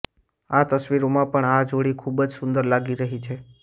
આ તસવીરોમાં પણ આ જોડી ખુબ જ સુંદર લાગી રહી છે